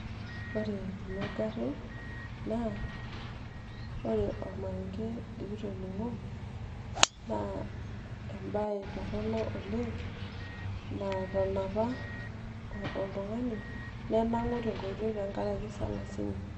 ore kuna garrin ore ormarenge likitoning'o naa embaye torronok oleng natanapa oltung'ani nenangu' te nkoitoi tenkaraki salasini